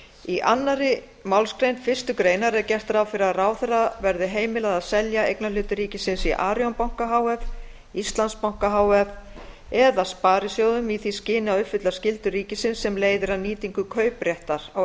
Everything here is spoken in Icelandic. í annarri málsgrein fyrstu grein er gert ráð fyrir því að ráðherra verði heimilað að selja eignarhluti ríkisins í arion banka h f íslandsbanka h f eða sparisjóðum í því skyni að uppfylla skyldur ríkisins sem leiðir af nýtingu kaupréttar á